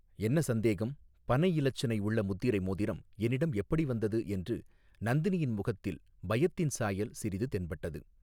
என்ன சந்தேகம் பனை இலச்சினை உள்ள முத்திரை மோதிரம் என்னிடம் எப்படி வந்தது என்று நந்தினியின் முகத்தில் பயத்தின் சாயல் சிறிது தென்பட்டது.